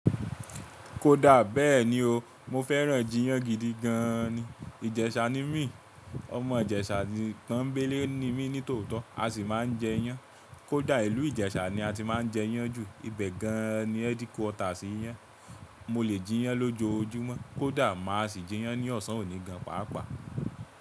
Kódà bẹ́ẹ̀ ni o, mo fẹ́ràn jiyán gidi gan ni. Ìjẹ̀sà ni mi, ọmọ Ìjẹ̀sà Pọ́ńbélé ni mi nítòótọ́, a sì máa ń jẹ iyán. Kódà ìlú Ìjẹ̀sà ni a ti máa ń jẹ iyán jù, ibẹ̀ gan-an ni headquarters iyán. Mo lè jiyán lójoojúmọ́, kódà máa sì jiyán ní ọ̀sán òní gan pàápàá.